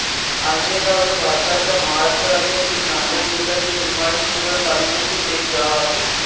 आंढेगाव हे भारताच्या महाराष्ट्र राज्यातील नांदेड जिल्ह्यातील हिमायतनगर तालुक्यातील एक गाव आहे